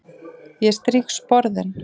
Ég strýk sporðinn.